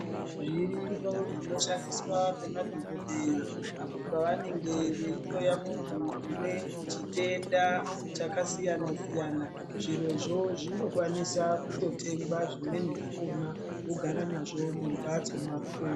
Zviriyo zvinoshandiswa ngemadhokodheya apo pavanenge veihloya muntu une chitenda chakasiyana siyana. Zvirozvo zvinokwanisa kutotengwa zvimweni zvakhona wotogara nazvo mumhatso mwako.